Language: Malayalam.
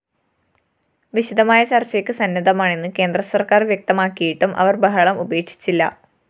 വിശദമായ ചര്‍ച്ചയ്ക്ക് സന്നദ്ധമാണെന്ന് കേന്ദ്രസര്‍ക്കാര്‍ വ്യക്തമാക്കിയിട്ടും അവര്‍ ബഹളം ഉപേക്ഷിച്ചില്ല